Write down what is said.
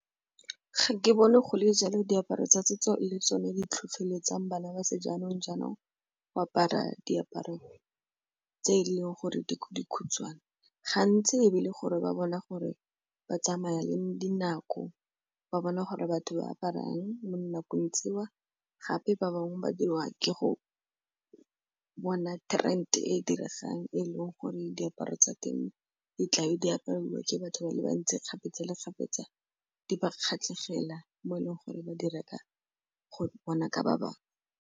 Ga ke bone go le jalo diaparo tsa setso le tsone di tlhotlheletsang bana ba sejaanong-jaanong go apara diaparo tse e leng gore di dikhutshwane. Gantsi e be e le gore ba bona gore ba tsamaya le dinako ba bona gore batho ba aparang mo dinakong tseo gape ba bangwe ba diriwa ke go bona e diregang e leng gore diaparo tsa teng di tlabe di apariwa ke batho ba le bantsi kgapetsa le kgapetsa di ba kgatlhegela mo e leng gore ba di reka go bona ka ba bangwe.